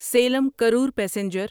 Saleem Karur passenger